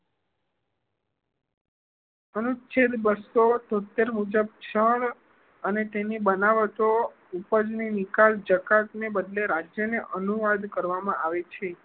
અનુચ્છેદ બસો તોત્તેર મુજબ ક્ષણ અને તેની બનાવટો ઉપજ ની નિકાસ જકાત ને બદલે રાષ્ટ્ર ને અનુવાદ કરવામાં આવે છે